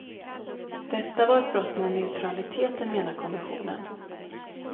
Detta var ett brott mot neutraliteten, menar kommissionen.